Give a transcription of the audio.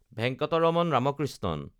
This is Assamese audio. ভেংকটৰামন ৰামকৃষ্ণণ